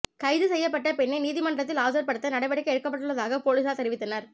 கைது செய்யப்பட்ட பெண்ணை நீதிமன்றத்தில் ஆஜர்படுத்த நடவடிக்கை எடுக்கப்பட்டுள்ளதாக பொலிசார் தெரிவித்தனர்